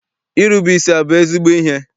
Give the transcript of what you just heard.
Irube isi abụ ezigbo ihe?